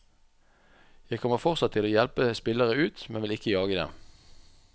Jeg kommer fortsatt til å hjelpe spillere ut, men vil ikke jage dem.